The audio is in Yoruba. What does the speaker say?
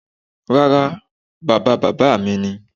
Rárá, bàba bàbá mi ni.